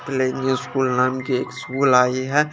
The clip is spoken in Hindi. लेंगी स्कूल नाम कि एक स्कूल आइ है।